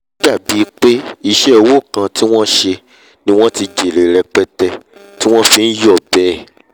ó dàbí pé iṣẹ́ òwò kan tí wọn sẹ ni wọ́n ti jèrè rẹpẹtẹ ti wọ́n fi nyọ̀ bẹ́ẹ̀